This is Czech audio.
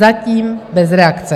Zatím bez reakce.